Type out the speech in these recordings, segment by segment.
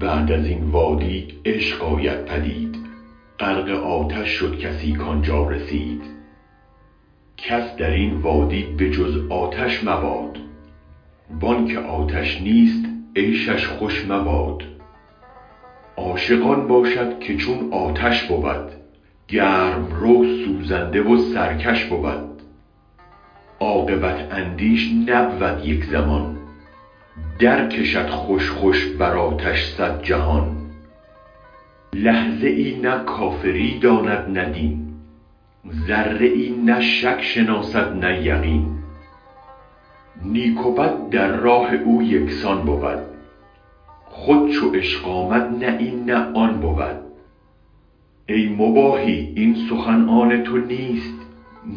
بعد ازین وادی عشق آید پدید غرق آتش شد کسی کانجا رسید کس درین وادی به جز آتش مباد وانک آتش نیست عیشش خوش مباد عاشق آن باشد که چون آتش بود گرم رو سوزنده و سرکش بود عاقبت اندیش نبود یک زمان در کشد خوش خوش بر آتش صد جهان لحظه ای نه کافری داند نه دین ذره ای نه شک شناسد نه یقین نیک و بد در راه او یکسان بود خود چو عشق آمد نه این نه آن بود ای مباحی این سخن آن تونیست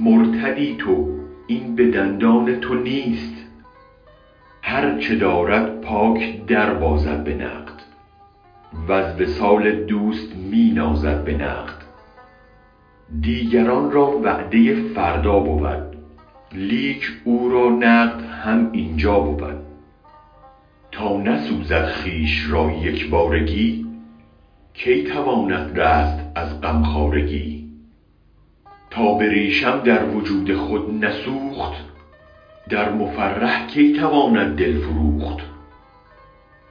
مرتدی تو این به دندان تو نیست هرچ دارد پاک دربازد به نقد وز وصال دوست می نازد به نقد دیگران را وعده فردا بود لیک او را نقد هم اینجا بود تا نسوزد خویش را یک بارگی کی تواند رست از غم خوارگی تا بریشم در وجود خود نسوخت در مفرح کی تواند دل فروخت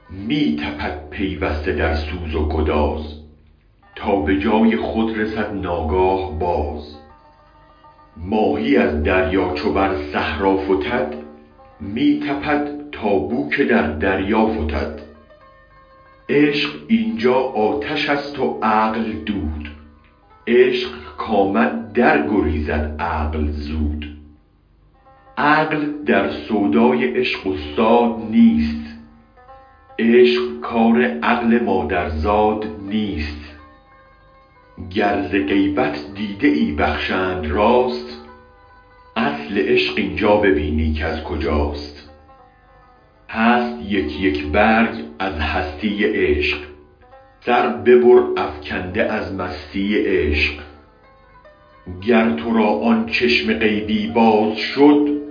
می تپد پیوسته در سوز و گداز تا بجای خود رسد ناگاه باز ماهی از دریا چو بر صحرا فتد می تپد تا بوک در دریا فتد عشق اینجا آتشست و عقل دود عشق کامد در گریزد عقل زود عقل در سودای عشق استاد نیست عشق کار عقل مادر زاد نیست گر ز غیبت دیده ای بخشند راست اصل عشق اینجا ببینی کز کجاست هست یک یک برگ از هستی عشق سر ببر افکنده از مستی عشق گر ترا آن چشم غیبی باز شد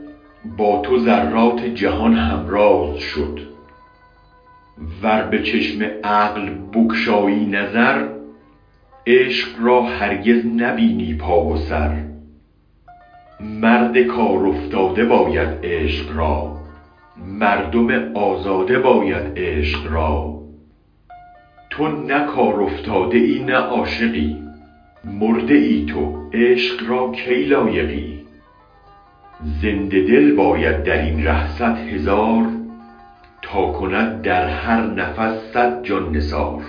با تو ذرات جهان هم راز شد ور به چشم عقل بگشایی نظر عشق را هرگز نبینی پا و سر مرد کارافتاده باید عشق را مردم آزاده باید عشق را تو نه کار افتاده ای نه عاشقی مرده ای تو عشق را کی لایقی زنده دل باید درین ره صد هزار تا کند در هرنفس صد جان نثار